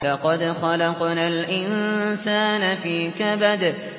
لَقَدْ خَلَقْنَا الْإِنسَانَ فِي كَبَدٍ